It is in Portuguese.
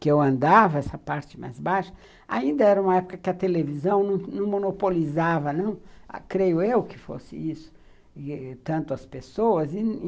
que eu andava, essa parte mais baixa, ainda era uma época em que a televisão não monopolizava, não, creio eu, que fosse isso, tanto as pessoas.